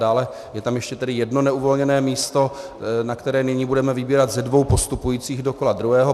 Dále je tam ještě tedy jedno neuvolněné místo, na které nyní budeme vybírat ze dvou postupujících do kola druhého.